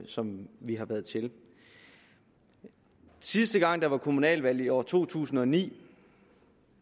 som vi har været til sidste gang der var kommunalvalg i år to tusind og ni